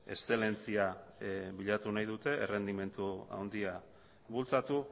eszelentzia bilatu nahi dute errendimendu handia bultzatu